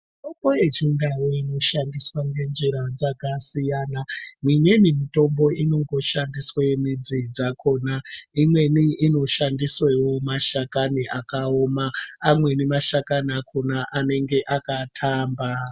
Mitombo yechindau inoshandiswa ngenjira dzakasiyana. Mimweni mitombo inongoshandiswe midzi dzakona. Imweni inoshandiswewo mashakani akaoma, amweni mashakani akona anenge akatamba.